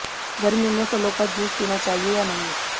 गर्मियों में फलों का जूस पीना चाहिए या नहीं